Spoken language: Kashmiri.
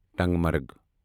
ٹنگ مرگ